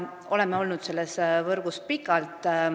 Oleme olnud selles võrgus pikalt.